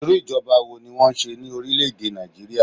Irú ìjọba wo ni wọn n ṣe ní orílè èdè Nàìjíríà?